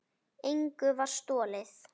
Engu var stolið.